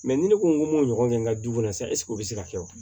ni ne ko n ko m'o ɲɔgɔn kɛ n ka du kɔnɔ sa o bɛ se ka kɛ wa